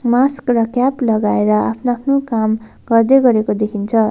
Mask र cap लगाएर आफ्नो आफ्नो काम गर्दै गरेको देखिन्छ।